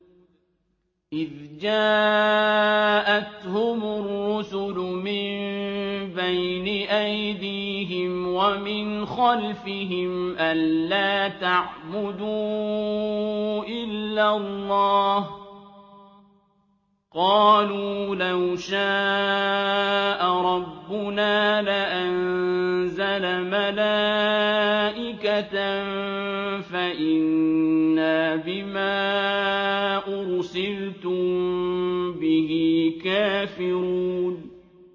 إِذْ جَاءَتْهُمُ الرُّسُلُ مِن بَيْنِ أَيْدِيهِمْ وَمِنْ خَلْفِهِمْ أَلَّا تَعْبُدُوا إِلَّا اللَّهَ ۖ قَالُوا لَوْ شَاءَ رَبُّنَا لَأَنزَلَ مَلَائِكَةً فَإِنَّا بِمَا أُرْسِلْتُم بِهِ كَافِرُونَ